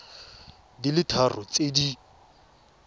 di le tharo tse di